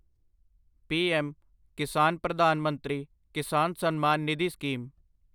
PM Kisan Pradhan Mantri Kisan Samman Nidhi scheme